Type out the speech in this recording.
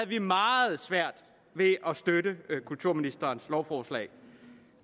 vi meget svært ved at støtte kulturministerens lovforslag